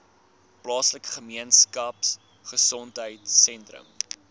plaaslike gemeenskapgesondheid sentrum